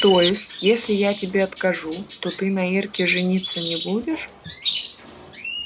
то есть если я тебе откажу то ты на ирке жениться не будешь